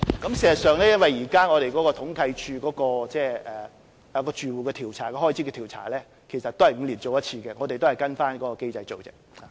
事實上，由於現時統計處就綜援住戶開支統計的調查是每5年進行一次，所以我們也是跟隨該機制進行而已。